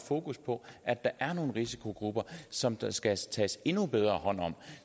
fokus på at der er nogle risikogrupper som der skal tages endnu bedre hånd om